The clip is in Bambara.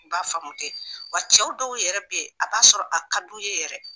N b'a faamu ten wa cɛw dɔw yɛrɛ bɛ ye a b'a sɔrɔ a ka di o ye yɛrɛ.